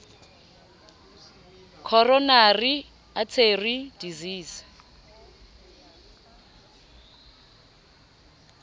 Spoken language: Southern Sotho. coronary artery disease